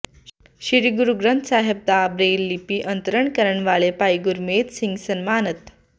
ਸ੍ਰੀ ਗੁਰੂ ਗ੍ਰੰਥ ਸਾਹਿਬ ਦਾ ਬ੍ਰੇਲ ਲਿਪੀ ਅੰਤਰਣ ਕਰਨ ਵਾਲੇ ਭਾਈ ਗੁਰਮੇਜ ਸਿੰਘ ਸਨਮਾਨਤ